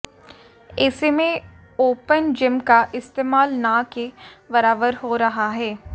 ऐसे में open gym का इस्तेमाल न के बराबर हो रहा है